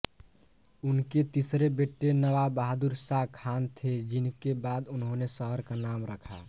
उनके तीसरे बेटे नवाब बहादुर शाह खान थे जिनके बाद उन्होंने शहर का नाम रखा